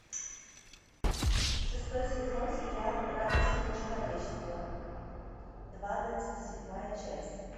шестой сезон сериал ради всего человечества двадцать седьмая часть